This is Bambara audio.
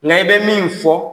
Nka i bɛ min fɔ